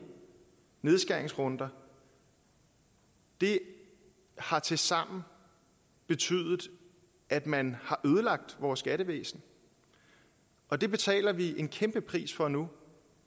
nedskæringsrunder det har tilsammen betydet at man har ødelagt vores skattevæsen og det betaler vi en kæmpe pris for nu